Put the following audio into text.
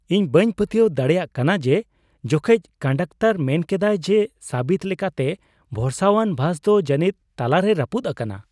ᱤᱧ ᱵᱟᱹᱧ ᱯᱟᱹᱛᱭᱟᱹᱣ ᱫᱟᱲᱮᱭᱟᱜ ᱠᱟᱱᱟ ᱡᱮ ᱡᱚᱠᱷᱮᱡ ᱠᱚᱱᱰᱟᱠᱴᱚᱨ ᱢᱮᱱ ᱠᱮᱫᱟᱭ ᱡᱮ ᱥᱟᱹᱵᱤᱠ ᱞᱮᱠᱟᱛᱮ ᱵᱷᱚᱨᱥᱟᱣᱟᱱ ᱵᱟᱥ ᱫᱚ ᱡᱟᱹᱱᱤᱡ ᱛᱟᱞᱟ ᱨᱮ ᱨᱟᱹᱯᱩᱫ ᱟᱠᱟᱱᱟ ᱾